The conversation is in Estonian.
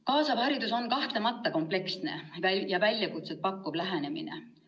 Kaasav haridus on kahtlemata kompleksne ja väljakutseid pakkuv lähenemine.